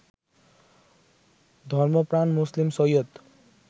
ধর্মপ্রাণ মুসলিম সৈয়দ